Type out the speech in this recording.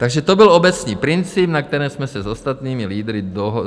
Takže to byl obecný princip, na kterém jsem se s ostatními lídry dohodl.